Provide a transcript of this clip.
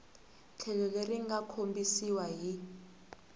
tlhelo leri nga kombisiwa hi